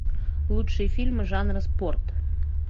лучшие фильмы жанра спорт